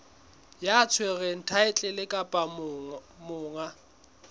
ya tshwereng thaetlele kapa monga